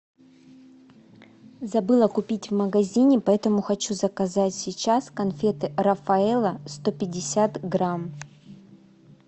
забыла купить в магазине поэтому хочу заказать сейчас конфеты рафаэлло сто пятьдесят грамм